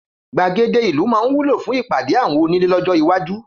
Gbàgede ìlú máa wúlò fún ìpàdé àwọn onílé lọ́jọ́ iwájú.